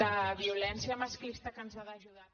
de violència masclista que ens ha d’ajudar